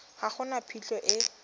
ga go na phitlho e